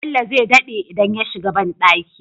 Bello zai daɗe idan ya shiga banɗaki